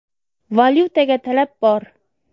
Valyutaga talab bor.